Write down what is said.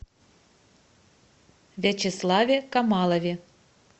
вячеславе камалове